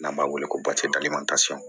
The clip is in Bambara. N'an b'a wele ko